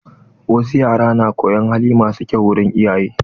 Wasu yara na koyon hali masu kyau wurin iyaye.